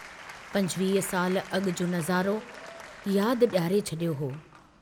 पंजवीह साल अगु जो नज़ारो यादि डियारे छड़ियो हो।